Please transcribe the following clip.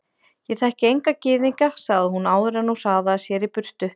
Ég þekki enga gyðinga sagði hún áður en hún hraðaði sér í burtu.